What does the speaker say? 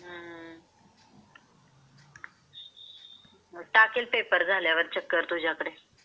टाकेल पेपर झाल्यावर चक्कर तुझ्याकड.